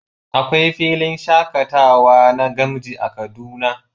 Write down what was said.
Akwai filin shakatawa na gamji a cikin kaduna